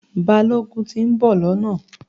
Balógun ti ń bò lọ́nà